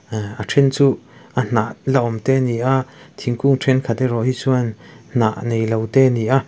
a then chu a hnah la awm te ani a thingkung ṭhenkhat erawh erawh hi chuan hnah nei lo te ani a.